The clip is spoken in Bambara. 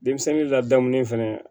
Denmisɛnnin ladamulen fɛnɛ